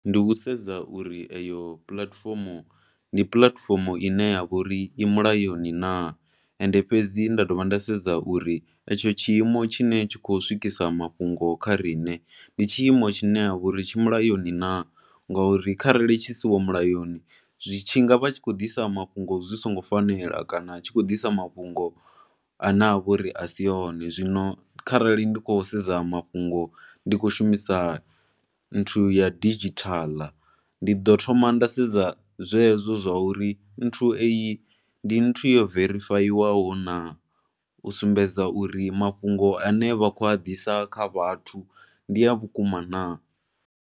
Ndi u sedza uri eyo puḽatifomo ndi puḽatifomo i ne ya vha uri i mulayoni naa and fhedzi nda dovha nda sedza uri etsho tshiimo tshine tsha khou swikisa mafhungo kha riṋe ndi tshiimo tshine ha vha uri tshi mulayoni naa. Ngauri kharali tshi siho mulayoni tshi nga vha tshi tshi khou ḓisa mafhungo zwi songo fanela kana tshi khou ḓisa mafhungo a ne a vha uri a si one. Zwino kharali ndi khou sedza mafhungo ndi khou shumisa nthu ya didzhithala ndi ḓo thoma nda sedza zwezwo zwa uri nthu eyi ndi nthu yo verifayiwaho naa. U sumbedza uri mafhungo a ne vha khou a ḓisa kha vhathu ndi a vhukuma naa.